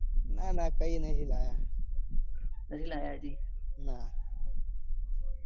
ના કઈ નાઈ લાયા. નાઈ લાયા હજી. ના